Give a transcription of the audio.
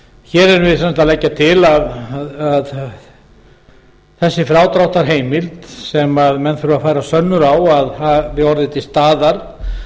hér erum við sem sagt að leggja til að frádráttarheimildin sem menn þurfa að færa sönnur á að hafi orðið til staðar